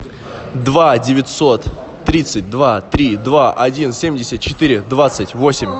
два девятьсот тридцать два три два один семьдесят четыре двадцать восемь